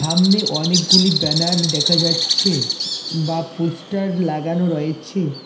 আমনে অনেকগুলি ব্যানার দেখা যাচ্ছে বা পোস্টার লাগানো রয়েছে।